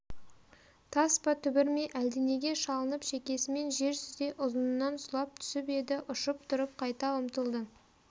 тас па түбір ме әлденеге шалынып шекесімен жер сүзе ұзынынан сұлап түсіп еді ұшып тұрып қайта ұмтылды